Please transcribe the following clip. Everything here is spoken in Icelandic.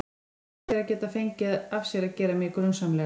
Hugsaðu þér að geta fengið af sér að gera mig grunsamlega.